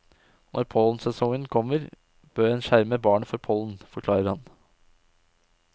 Når pollensesongen kommer, bør en skjerme barnet for pollen, forklarer han.